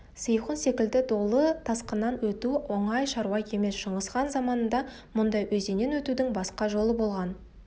сейхун секілді долы тасқыннан өту оңай шаруа емес шыңғысхан заманында мұндай өзеннен өтудің басқа жолы болған